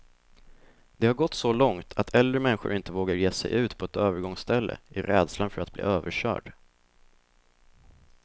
Det har gått så långt att äldre människor inte vågar ge sig ut på ett övergångsställe, i rädslan för att bli överkörd.